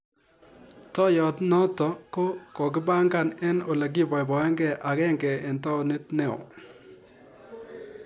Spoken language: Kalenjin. Toiyot notok ko kokipangan eng ole kibaybaeke agenge eng taonit neoo.